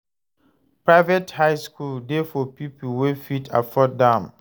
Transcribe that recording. Private high school de for pipo wey fit afford am